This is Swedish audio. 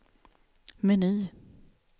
meny